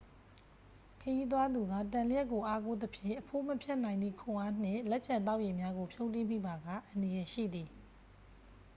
ခရီးသွားသူက တံလျှပ်ကို အားကိုးသဖြင့် အဖိုးမဖြတ်နိုင်သည့် ခွန်အားနှင့် လက်ကျန်သောက်ရေများကို ဖြုန်းတီးမိပါက အန္တရာယ်ရှိသည်